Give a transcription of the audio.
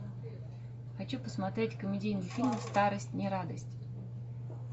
хочу посмотреть комедийный фильм старость не радость